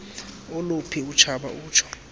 oluphi utshaba utsho